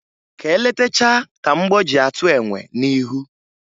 Ka e letachaa ka mgbọ ji atụ enwe n'ihu